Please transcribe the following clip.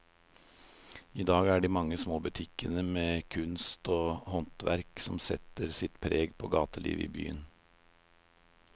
I dag er det de mange små butikkene med kunst og håndverk som setter sitt preg på gatelivet i byen.